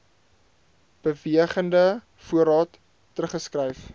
bewegende voorraad teruggeskryf